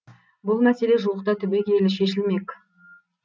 бұл мәселе жуықта түбегейлі шешілмек